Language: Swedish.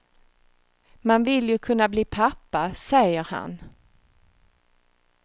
Man vill ju kunna bli pappa, säger han.